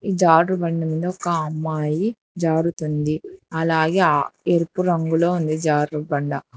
ఈ జారుడు బండి మీద ఒక అమ్మాయి జారుతుంది అలాగే ఆ ఎరుపు రంగులో ఉంది జారుడు బండ.